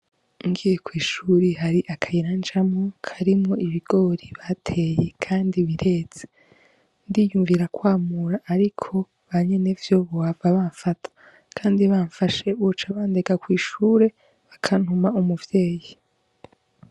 Ngiye kwishuri hari akayira ncamwo karimwo ibigori bateye kandi bireze ndiyumvira kwamura ariko banyenevyo bohava banfata kandi banfashe boca bandega kwi shure bakantuma umuvyeyi.